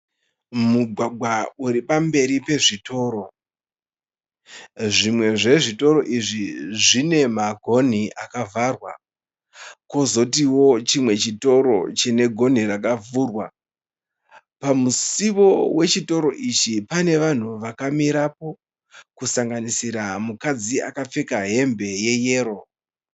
Mugwagwa uri pamberi pezvitoro. Zvimwe zvezvitoro izvi zvine magonhi akavharwa, kwozotiwo chimwe chitoro chine gonhi rakavhurwa . Pamusiwo wechitoro ichi pane vanhu vakamirapo kusanganisira mukadzi akapfeka hembe yeyero.